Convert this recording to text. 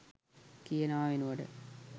කියනවා වෙනුවට